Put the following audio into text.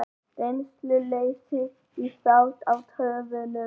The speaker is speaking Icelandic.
Reynsluleysi á þátt í töfunum